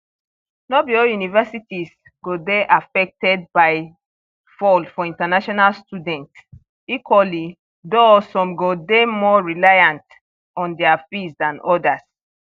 no be all universities go dey affected by fall for international students equally though some go dey more reliant on dia fees dan odas